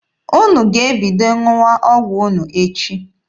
Unu ga-ebido ṅụwa ọgwụ unu echi.